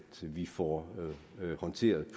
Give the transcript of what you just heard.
vi får håndteret